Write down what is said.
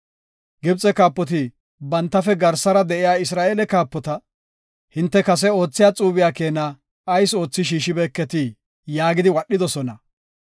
Gibxe kaapoti bantafe garsara de7iya Isra7eele kaapota, “Hinte kase oothiya xuube keena ayis oothi shiishibeketii?” yaagidi wadhidosona.